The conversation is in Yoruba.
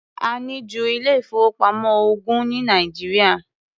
A ní ju ilé-ìfowópamọ́ ogún ní Nàìjíríà.